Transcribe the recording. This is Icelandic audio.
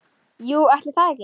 Jú, ætli það ekki.